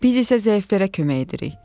Biz isə zəiflərdə kömək edirik.